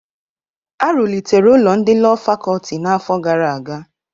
Arụlịtere ụlọ ndị Lọọ Fakọlti n'afọ gara aga.